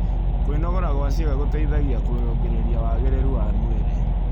Kwĩnogora gwa ciĩga gũteĩthagĩa kũrũngĩrĩrĩa wagĩrĩrũ wa mwĩrĩ